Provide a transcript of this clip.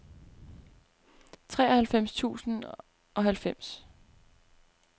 treoghalvfems tusind og halvfems